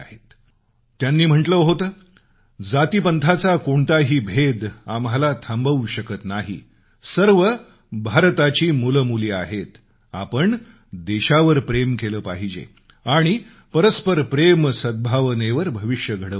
त्यांनी म्हटलं होतं जातीपंथाचा कोणताही भेद आम्हाला थांबवू शकत नाही सर्व भारताची मुलंमुली आहेत आपण देशावर प्रेम केलं पाहिजे आणि परस्पर प्रेमसद्भावनेवर भविष्य घडवलं पाहिजे